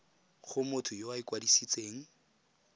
go motho yo o ikwadisitseng